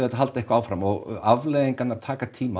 halda eitthvað áfram afleiðingarnar taka tíma að